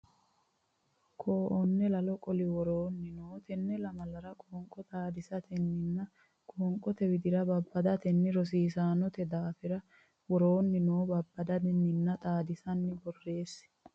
Koo onne lalo qoli woroonni noo tenne lamalara qoonqo xaadisatenninna qoonqote widira babbadatenni rossinoonnite daafira woroonni noo babbaddanninna xaadissanni borreessi.